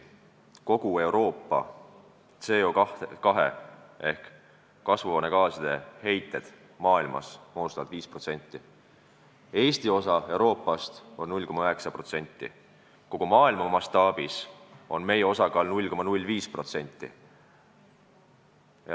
Kogu Euroopa CO2 ehk kasvuhoonegaaside heitmed moodustavad 5% maailma heitmetest, Eesti osa Euroopa heitmetes on 0,9%, kogu maailma mastaabis on meie osakaal 0,05%.